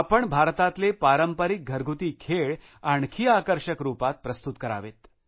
आपण भारतातले पारंपरिक घरगुती खेळ आणखी आकर्षक रुपात प्रस्तुत करावेत